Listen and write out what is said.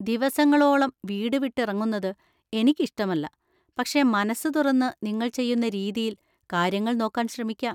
ദിവസങ്ങളോളം വീട് വിട്ടിറങ്ങുന്നത് എനിക്ക് ഇഷ്ടമല്ല, പക്ഷേ മനസ്സ് തുറന്ന് നിങ്ങൾ ചെയ്യുന്ന രീതിയിൽ കാര്യങ്ങൾ നോക്കാൻ ശ്രമിക്കാം.